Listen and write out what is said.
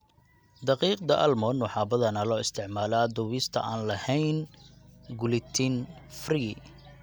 Daqiiqda almond waxaa badanaa loo isticmaalaa dubista aan lahayn gluten-free.